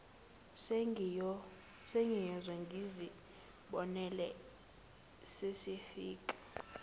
sengiyoze ngizibonele sesifika